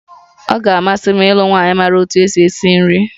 Ọ ga-amasị m ịlụ nwanyị maara otú e si esi nri